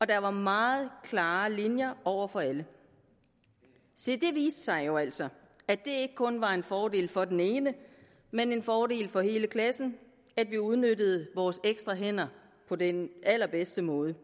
der var meget klare linjer over for alle se det viste sig jo altså at det kun var en fordel for den enkelte men en fordel for hele klassen at vi udnyttede vores ekstra hænder på den allerbedste måde